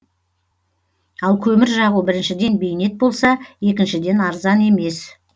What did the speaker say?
ал көмір жағу біріншіден бейнет болса екіншіден арзан емес